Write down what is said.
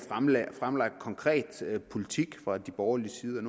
fremlagt konkret politik fra de borgerliges side